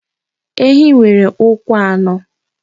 Ehi nwere ụkwụ anọ.